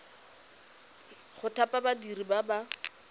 go thapa badiri ba ba